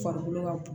Farikolo ka bon